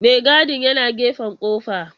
Maigadin yana gefen kofar.